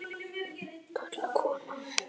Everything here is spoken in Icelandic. Til kaldra kola.